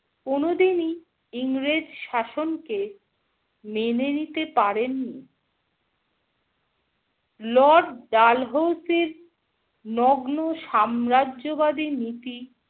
কোনো দিনই ইংরেজ শাসনকে মেনে নিতে পারেন নি। Lord ডালহৌসির নগ্ন সাম্রাজ্যবাদী নীতি